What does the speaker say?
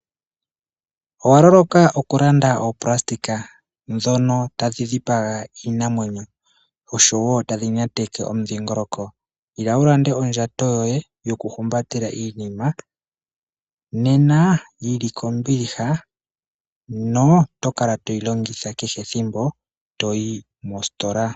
Owa loloka okulanda oonayilona ndhono tadhi dhipaga iinamwenyo dho tadhi nyateke omudhingoloko? Ila wu ilandele ondjato yoye yokuhumbatela iinima nena yi li kombiliha, ngweye oto kala toyi longitha kehe ethimbo to yi mositola.